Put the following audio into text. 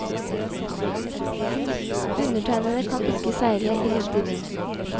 Undertegnede kan ikke seile i lite vind.